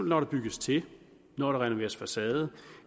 når der bygges til når der renoveres facade